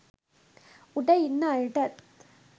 උඩ ඉන්න අයටත්